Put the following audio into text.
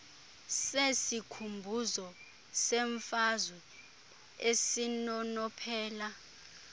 sesikhumbuzo semfazwe esinonophela